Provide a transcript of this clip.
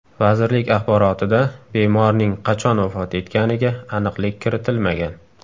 Vazirlik axborotida bemorning qachon vafot etganiga aniqlik kiritilmagan.